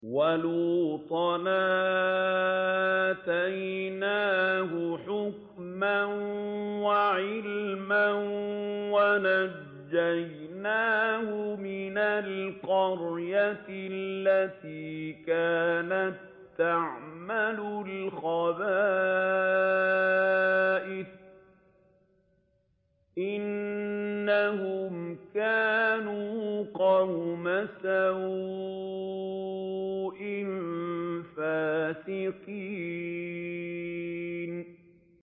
وَلُوطًا آتَيْنَاهُ حُكْمًا وَعِلْمًا وَنَجَّيْنَاهُ مِنَ الْقَرْيَةِ الَّتِي كَانَت تَّعْمَلُ الْخَبَائِثَ ۗ إِنَّهُمْ كَانُوا قَوْمَ سَوْءٍ فَاسِقِينَ